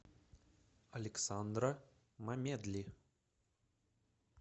александра мамедли